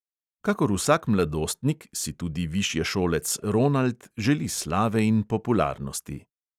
Kakor vsak mladostnik si tudi višješolec ronald želi slave in popularnosti.